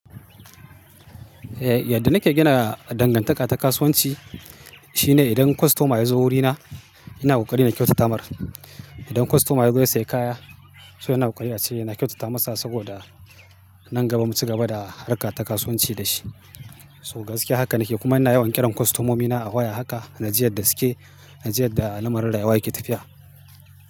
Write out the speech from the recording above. Yadda nake gina dangantaka ta kasuwanci shine idan kostoma ya zo wurina, ina ƙoƙari na kyautata mar. Idan kostoma ya zo ya sayi kaya, so ina ƙoƙari ace ina kyautata masa saboda nan gaba mu cigaba da harka ta kasuwanci da shi. So gaskiya haka nake kuma ina yawan ƙiran kostomomina a waya haka, naji yadda suke, naji yadda lamarin rayuwa yake tafiya.